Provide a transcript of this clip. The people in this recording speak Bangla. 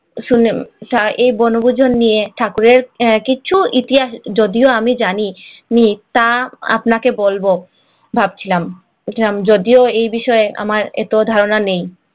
শুনে ঐবনভোজন নিয়ে ঠাকুরের কিছু ইতিহাস যদিও আমি জানি তা আপনাকে বলব ভাবছিলাম ইসলাম যদিও এই বিষয়ে আমার এত ধারণা নেই